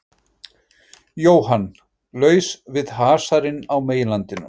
Jóhann: Laus við hasarinn á meginlandinu?